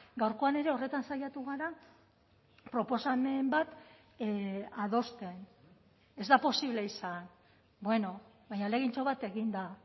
gaurkoan ere horretan saiatu gara proposamen bat adosten ez da posible izan bueno baina ahalegintxo bat egin da